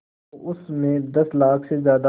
तो उस में दस लाख से ज़्यादा